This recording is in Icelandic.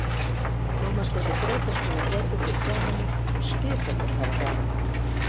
Mamma skellir grautarskál á borðið fyrir framan mig og skipar mér að hafa hraðan á.